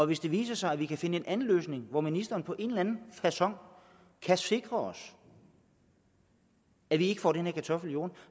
hvis det viser sig at vi kan finde en anden løsning hvor ministeren på en eller anden facon kan sikre os at vi ikke får den her kartoffel i jorden